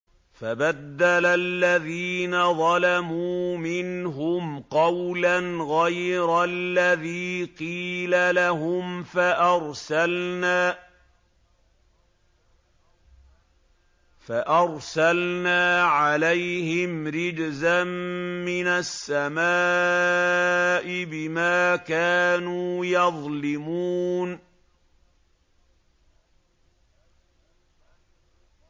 فَبَدَّلَ الَّذِينَ ظَلَمُوا مِنْهُمْ قَوْلًا غَيْرَ الَّذِي قِيلَ لَهُمْ فَأَرْسَلْنَا عَلَيْهِمْ رِجْزًا مِّنَ السَّمَاءِ بِمَا كَانُوا يَظْلِمُونَ